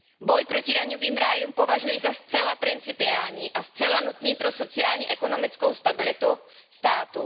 Boj proti daňovým rájům považuji za zcela principiální a zcela nutný pro sociálně ekonomickou stabilitu státu.